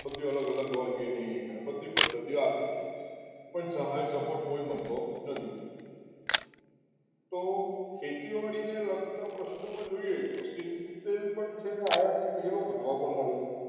બધી અલગ અલગ organic ની પદ્ધતિઓ આપી પણ સહાય support કોઈ મળતો નથી તો ખેતીવાડી ને લગતા પ્રશ્નોમાં જોઈએ તો સીંગતેલ પણ છે ને અને આયાથી તેરો પણ વધવા માંડ્યા છે.